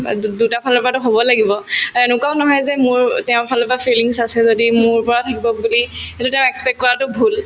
অ, দু দুটাফালৰ পৰাতো হব লাগিব এনেকুৱাও নহয় যে মোৰ তেওঁৰ ফালৰ পৰা feelings আছে যদি মোৰ পৰা থাকিব বুলি সেইটো তেওঁ expect কৰাতো ভূল